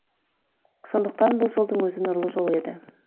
сондықтан бұл жолдың өзі нұрлы жол еді